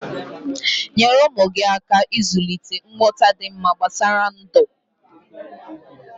Nyere ụmụ gi aka ịzulịte nghọta dị mma gbasara ndụ